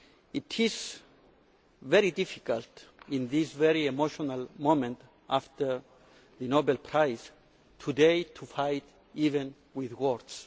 It is very difficult, at this very emotional moment after the Nobel Prize today, to fight even with words.